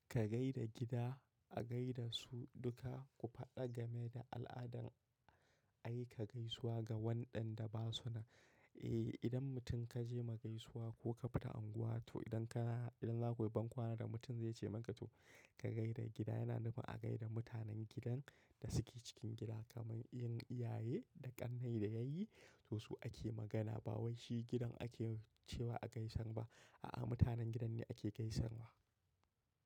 Ka gai da gida a gai da su duka. Ku faɗa game da al'adan aika gaisuwa ga waɗanda ba su nan. Eh idan mutum ka je ma gaisuwa ko ka fita unguwa to idan ka idan za ku yi bankwana da mutum zai ce maka to ka gai da gida. Yana nufin a gai da mutanen gidan da suke cikin gida kamar 'yan iyaye da ƙannai da yayi to su ake magana ba wai shi gidan ake cewa a gaisan ba. A'a mutanen gidan ne ake gaisar wa.